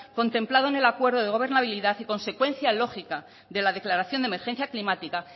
contemplado en el acuerdo de gobernabilidad y consecuencia lógica de la declaración de emergencia climática